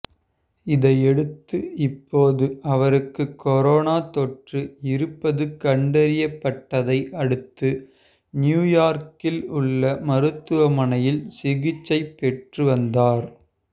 இதையடுத்து இப்போது அவருக்கு கொரோனா தொற்று இருப்பது கண்டறியப்பட்டதை அடுத்து நியுயார்க்கில் உள்ள மருத்துவமனையில் சிகிச்சைப் பெற்று வந்தார்